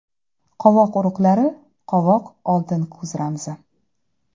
Qovoq urug‘lari Qovoq – oltin kuz ramzi.